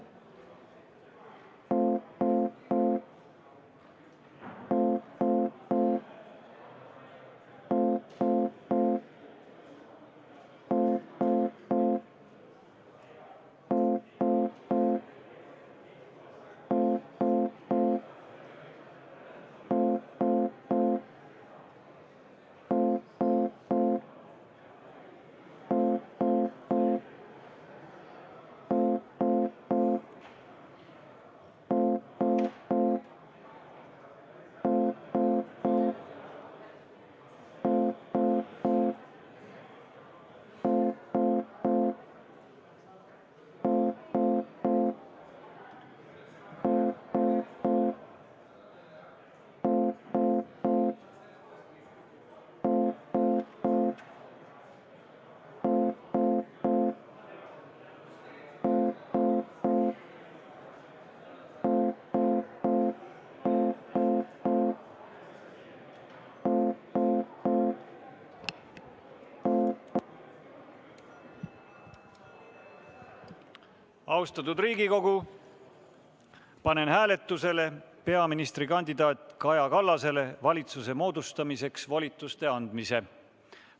Austatud Riigikogu, panen hääletusele peaministrikandidaat Kaja Kallasele valitsuse moodustamiseks volituste andmise.